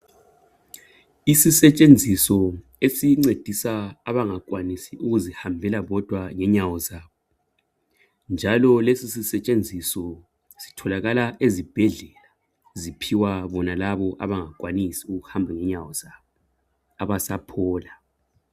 Isizetshenziso esincedisa abangakwanisi ukukuzihambela bodwa ngenyawo zabo, njalo lesi sisetshenziso sitholakala ezibhedlela. Ziphiwa bonalabo abangakwanisi ukuhamba ngenyawo zabo abasaphola.